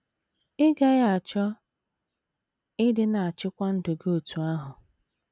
Ị́ gaghị achọ ịdị na - achịkwa ndụ gị otú ahụ?